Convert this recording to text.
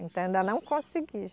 Então, ainda não consegui,